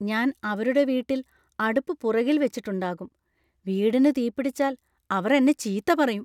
ഞാൻ അവരുടെ വീട്ടിൽ അടുപ്പ് പുറകിൽ വെച്ചിട്ടുണ്ടാകും. വീടിന് തീപിടിച്ചാൽ അവർ എന്നെ ചീത്ത പറയും .